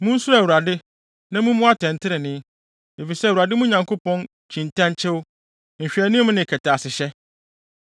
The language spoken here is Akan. Munsuro Awurade, na mummu atɛntrenee, efisɛ Awurade, mo Nyankopɔn, kyi ntɛnkyew, nhwɛanim ne kɛtɛasehyɛ.”